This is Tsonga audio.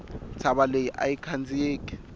ntshava leyi ayi khandziyeki